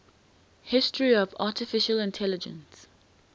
history of artificial intelligence